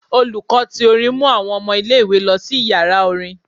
Olùkọ́ tí orín mú àwọn ọmọ ìlé-ìwé lọ si ìyara orin.